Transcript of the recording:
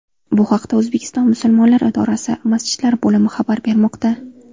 Bu haqda O‘zbekiston musulmonlari idorasi Masjidlar bo‘limi xabar bermoqda .